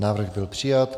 Návrh byl přijat.